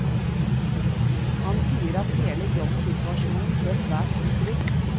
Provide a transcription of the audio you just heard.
Han sier at hele jobbsituasjonen ble svært utrygg.